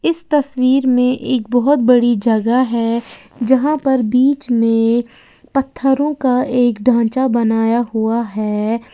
इस तस्वीर में एक बहोत बड़ी जगह है जहां पर बीच में पत्थरों का एक ढांचा बनाया हुआ है।